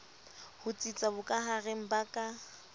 ho tsitsa bokahareng ba ka